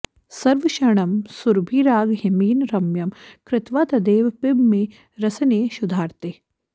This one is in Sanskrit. सर्वक्षणं सुरभिरागहिमेन रम्यं कृत्वा तदेव पिब मे रसने क्षुधार्ते